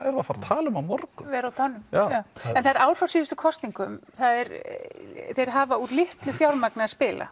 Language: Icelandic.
erum að fara að tala um á morgun vera á tánum já en það er ár frá síðustu kosningum þeir hafa úr litlu fjármagni að spila